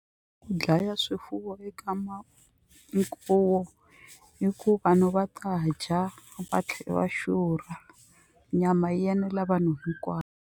Ku dlaya swifuwo eka hi ku vanhu va ta dya va tlhela va xurha nyama yi enela vanhu hinkwavo.